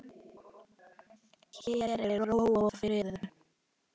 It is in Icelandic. Hér er ró og friður.